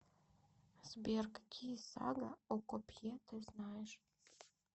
сбер какие сага о копье ты знаешь